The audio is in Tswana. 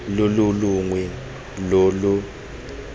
lo lo longwe lo lo